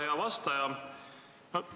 Hea vastaja!